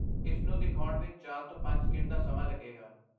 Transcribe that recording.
ਇਸ ਨੂੰ ਦਿਖਾਉਣ ਵਿੱਚ ਚਾਰ ਤੋਂ ਪੰਜ ਸਕਿੰਟ ਦਾ ਸਮਾਂ ਲੱਗੇਗਾ